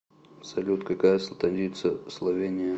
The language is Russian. салют какая столица словения